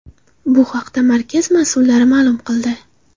Bu haqda markaz mas’ullari ma’lum qildi.